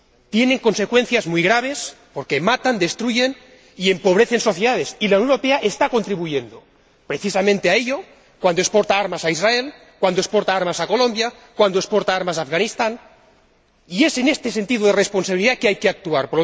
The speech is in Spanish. Tienen consecuencias muy graves porque matan, destruyen y empobrecen sociedades, y la Unión Europea está contribuyendo precisamente a ello cuando exporta armas a Israel, cuando exporta armas a Colombia, cuando exporta armas a Afganistán, y es atendiendo a este sentido de la responsabilidad que hay que actuar.